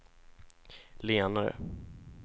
lenare